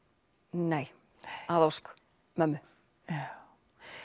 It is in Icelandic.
nei að ósk mömmu já